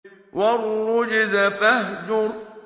وَالرُّجْزَ فَاهْجُرْ